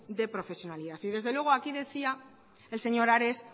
de profesionalidad y desde luego aquí decía el señor ares